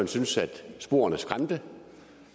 syntes at sporene skræmte